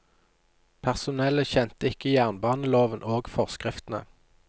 Personellet kjente ikke jernbaneloven og forskriftene.